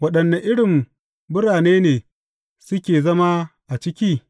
Waɗanne irin birane ne suke zama a ciki?